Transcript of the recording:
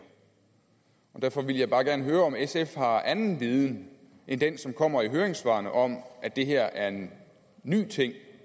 derfor vil jeg bare gerne høre om sf har anden viden end den som kommer i høringssvarene om at det her er en ny ting